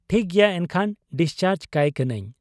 ᱴᱷᱤᱠ ᱜᱮᱭᱟ ᱮᱱᱠᱷᱟᱱ ᱰᱤᱥᱪᱟᱨᱡᱽ ᱠᱟᱭ ᱠᱟᱹᱱᱟᱹᱧ ᱾